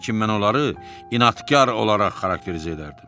Lakin mən onları inadkar olaraq xarakterizə edərdim.